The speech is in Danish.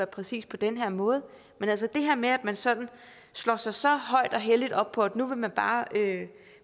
præcis på den her måde men altså det her med at man sådan slår sig så højt og helligt op på at nu vil man bare